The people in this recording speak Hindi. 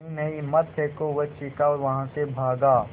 नहीं नहीं मत फेंको वह चीखा और वहाँ से भागा